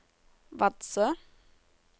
Vadsø